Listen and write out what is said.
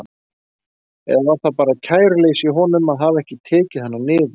Eða var það bara kæruleysi í honum að hafa ekki tekið hana niður?